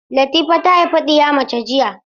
Latifa ta haifi ɗiya mace jiya.